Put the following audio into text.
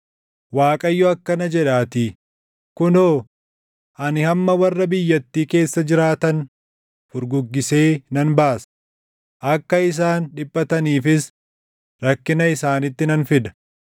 Waaqayyo akkana jedhaatii; “Kunoo, ani amma warra biyyattii keessa jiraatan furguggisee nan baasa; akka isaan dhiphataniifis rakkina isaanitti nan fida.”